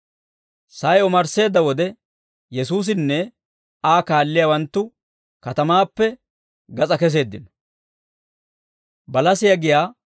Sa'ay omarsseedda wode, Yesuusinne Aa kaalliyaawanttu katamaappe gas'aa keseeddino.